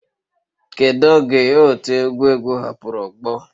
Kedu oge otu egwu egwu hapụrụ ogbo